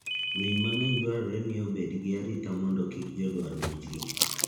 Winy mangeny dwarore ni obet gi arita mondo kik jodwar monj gi.